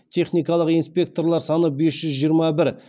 техникалық инспекторлар саны бес жүз жиырма бір